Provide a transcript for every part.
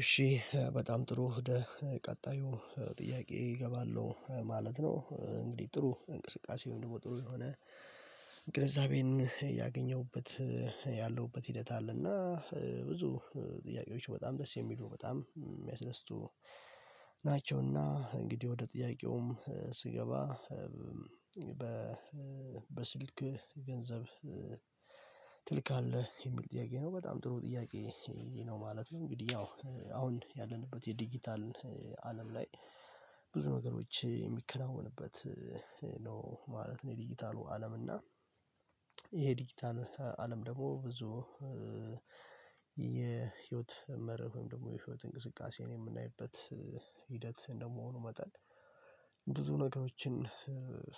እሺ በጣም ጥሩ ህደ ቀጣዩ ጥያቄ እገባለሁ ማለት ነው። እንግዲህ ጥሩ እንቅስቃሴ ወይም ደግሞ ጥሩ የሆነ ግንዛቤን ያገኘሁበት ያለሁበት ሂደት አለና ብዙ ጥያቄዎች በጣም ደስ የሚሉ በጣም የሚያስደስቱ ናቸውና እንግዲህ ወደ ጥያቄውም ስገባ በስልክ ገንዘብ ትልካለህ የሚል ጥያቄ ነው በጣም ጥሩ ጥያቄ ነው ማለት ነው። እንግዲህ ያው አሁን ያለንበት የዲጂታል አለም ላይ ብዙ ነገሮች የሚከናወንበት ነው ማለት ነው። የዲጂታሉ አለም እና ይሄ ዲጂታል አለም ደግሞ ብዙ የህይወት መርህም ደግሞ የህይወት እንቅስቃሴ የምናይበት ሂደት እንደመሆኑ መጠን ብዙ ነገሮችን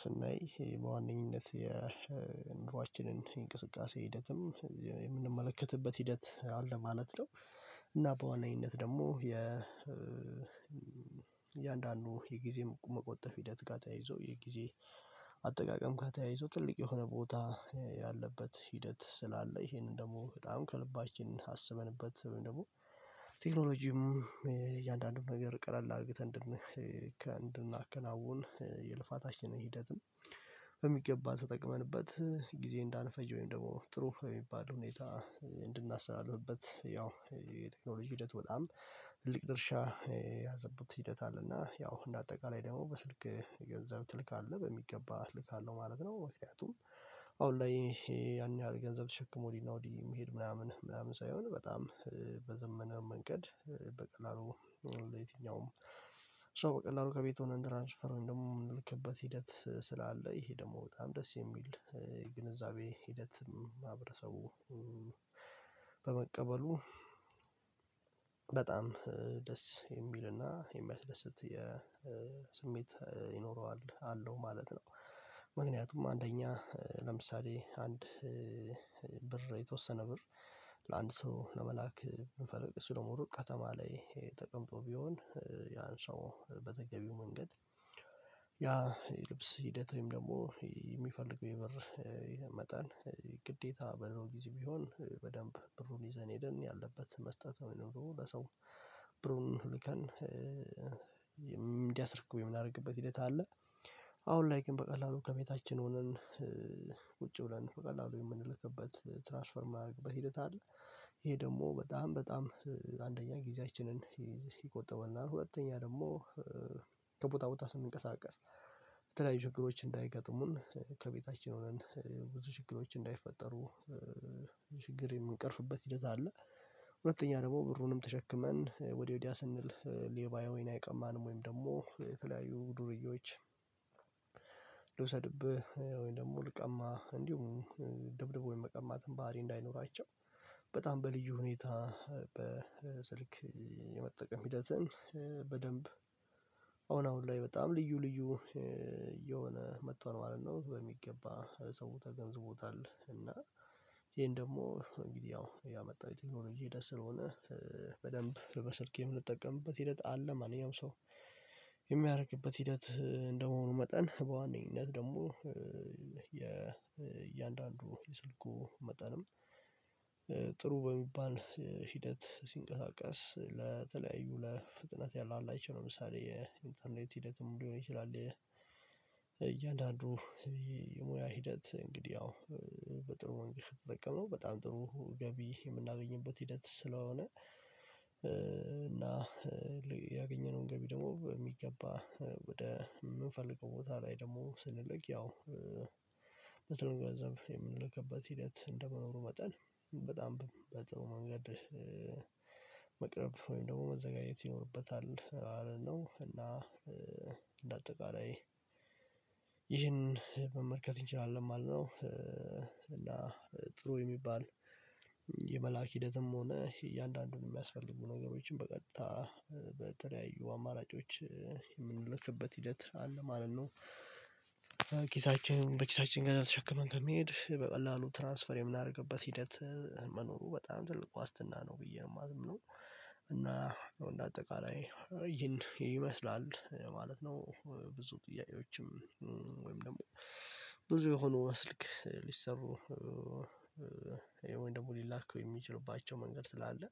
ስናይ በዋነኝነት የ ኑሯችንን እንቅስቃሴ ሂደትም የምንመለከትበት ሂደት አለ ማለት ነው። እና በዋነኝንት ደግሞ የ እያንዳንዱ የጊዜ መቆጠብ ሂደት ጋር ተያይዞ የጊዜ አጠቃቀም ጋር ተያይዞ ትልቅ የሆነ ቦታ ያለበት ሂደት ስላለ ይሄንን ደግሞ በጣም ከልባችን አስበንበት ደግሞ ቴክኖሎጂም እያንዳንዱን ነገር ቀላል አድርገን እንድናከናውን የልፋታችንን ሂደትን በሚገባ ተጠቅመንበት ጊዜ እንዳንፈጀ ወይም ደግሞ ጥሩ የሚባል ሁኔታ እንድናስተላልፍበት ያው የቴክኖሎጂ ሂደት በጣም ትልቅ ድርሻ ያዘቡት ሂደት አለ እና ያው እንደ አጠቃላይ ደግሞ በስልክ ገንዘብ ትልካለህ በሚገባ ልካለሁ ማለት ነው። ምክንያቱም አሁን ላይ ያን ያህል ገንዘብ ተሸክሞ ወዲህ ነው ወዲህ የምሄድ ምናምን ምናምን ሳይሆን በጣም በዘመነ መንገድ በቀላሉ ሌትኛውም ሶ በቀላሉ ከቤቱ ሆነን ትራንስፍር ደግሞ የምንልክበት ሂደት ስላለ ይሄ ደግሞ በጣም ደስ የሚል ግንዛቤ ሂደት ማህበረሰቡ በመቀበሉ በጣም ደስ የሚልና የሚያስደስት የስሜት ይኖረዋል አለው ማለት ነው። ምክንያቱም አንደኛ ለምሳሌ አንድ ብር የተወሰነ ብር ለአንድ ሰው ለመላክ ብንፈልግ እሱ ደግሞ ሩቅ ከተማ ላይ ተቀምጦ ቢሆን ያን ሰው በተገቢው መንገድ ያ ልብስ ሂደት ወይም ደግሞ የሚፈልግ የብር መጠን ግዴታ በ ድሮ ጊዜ ቢሆን በደንብ ብሩን ይዘን ሄደን ያለበት መስጠት ነው የሚኖረው ለሰው ሁልከን እንዲያስርክ የምናደርግበት ሂደት አለ አሁን ላይ ግን በቀላሉ ከቤታችን ሆነን ቁጪ ብለን በቀላሉ የምንልክበት ትራንስፈር የሚደረግበት ሂደት አለ ይሄ ደግሞ በጣም በጣም አንደኛ ጊዜያችንን ይቆጠበናል ሁለተኛ ደግሞ ከቦታ ቦታ ስንቀሳቀስ የተለያዩ ችግሮች እንዳይገጥሙን ከቤታችን ሆነን ብዙ ችግሮች እንዳይፈጠሩ ችግር የምንቀርፍበት ሂደት አለ። ሁለተኛ ደግሞ ብሩንም ተሸክመን ወደ ወዲያ ስንል ሌባ ወይ አይቀማንም ወይም ደግሞ የተለያዩ ዱርዬዎች ልውሰድብህ ወይም ደግሞ ልቀማህ እንዲሁም ደብድቦ የመቀማትን ባህሪ እንዳይኖራቸው በጣም በልዩ ሁኔታ በስልክ የመጠቀም ሂደትን በደንብ አሁን አሁን ላይ በጣም ልዩ ልዩ እየሆነ መጥቷል ማለት ነው። በሚገባ ሰው ተገንዝቦታል እና ይሄን ደግሞ እንግዲህ ያው ያመጣው የቴክኖሎጂ ሂደት ስለሆነ በደንብ በስልኬ የምንጠቀምበት ሂደት አለ ማንኛውም ሰው የሚያደርበት ሂደት እንደመሆኑ መጠን በዋነኝነት ደግሞ የእያንዳንዱ የስልኩ መጠንም ጥሩ በሚባል ሂደት ሲንቀጣቀስ ለተለያዩ ለፍጥነት ያላቸው ለምሳሌ የኢንተርኔት ሂደትም ሊሆን ይችላል እያንዳንዱ የሙያ ሂደት እንግዲህ አዎ በጥሩ መንገድ ከተጠቀምነው በጣም ጥሩ ገቢ የምናገኝበት ሂደት ስለሆነ ያገኘነውን ገቢ ደግሞ በሚገባ ወደ የምንፈልገው ቦታ ላይ ደግሞ ስንልቅ ያው በጥሩ ገንዘብ የምንለከበት ሂደት እንደመኖሩ መጠን በጣም በጥሩ መንገድ መቅረብ ወይም ደግሞ መዘጋጀት ይኖርበታል ማለት ነው። እና እንደ አጠቃላይ ይህንን መመልከት እንችላለን ማለት ነው። እና ጥሩ የሚባል የመላክ ሂደትም ሆነ እያንዳንዱን የሚያስፈልጉ ነገሮችን በቀጥታ በተለያዩ አማራጮች የምንልክበት ሂደት አለ ማለት ነው። ኪሳችን በኪሳችን ጋር ተሸከመን ከሚሄድ በቀላሉ ትራንስፈር የምናደርግበት ሂደት መኖሩ በጣም ትልቅ ዋስትና ነው ብዬ ነው የማምነው እና እንደ አጠቃላይ ይሄን ይመስላል ለማለት ነው ብዙ ጥያቄዎችም ወይም ደግሞ ብዙ የሆኑ በስልክ ሊሰሩ ወይም ደግሞ ሊላኩ የሚችሉባቸው መንገድ ስላለ